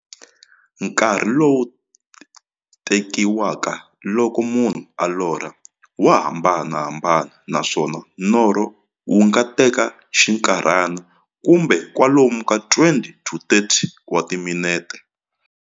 Nkarhi lowu tekiwaka loko munhu a lorha, wa hambanahambana, naswona norho wu nga teka xinkarhana, kumbe kwalomu ka 20 to 30 wa timinete.